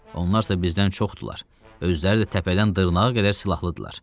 Onlarsa bizdən çoxdular, özləri də təpədən dırnağa qədər silahlı idilər.